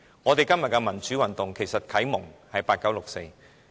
我們今天的民主運動，其實是啟蒙自八九六四。